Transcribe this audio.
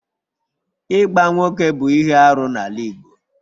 Ịgba nwoke bụ ihe arụ n'ala Igbo